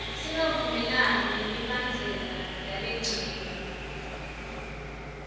singavumelani nemibandzela yalencenye